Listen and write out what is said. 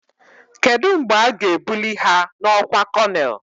Kedụ mgbe a ga ebnuyi ha n'ọkwá konel?